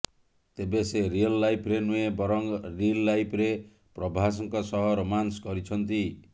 ତେବେ ସେ ରିୟଲ ଲାଇଫରେ ନୁହେଁ ବରଂ ରିଲ୍ ଲାଇଫରେ ପ୍ରଭାସଙ୍କ ସହ ରୋମାନ୍ସ କରିଛନ୍ତି